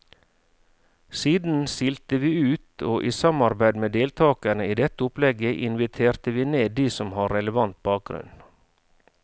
Siden silte vi ut, og i samarbeid med deltagerne i dette opplegget inviterte vi ned de som har relevant bakgrunn.